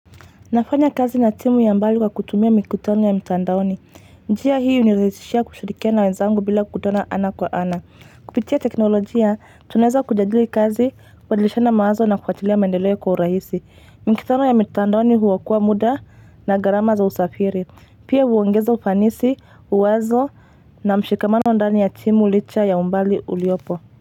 Nafanya kazi na timu ya mbali kwa kutumia mikutano ya mtandaoni. Njia hii hunirahisishia kushirikiana na wenzangu bila kukutana ana kwa ana. Kupitia teknolojia, tunaweza kujadili kazi ku badilishana mawazo na kufatilia mendeleo kwa urahisi. Mikutano ya mtandaoni huokoa muda na garama za usafiri. Pia huongeza ufanisi, uwazo na mshikamano ndani ya timu licha ya umbali uliopo.